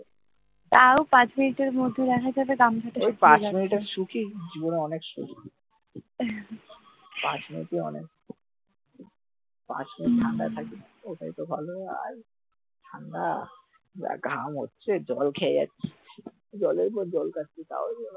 পাঁচ মিনিটি অনেক হম ঠান্ডায় থাকি যা ঘাম হচ্ছে জল খেয়ে যাচ্ছি জলের পর জল খেয়ে যাচ্ছি তাও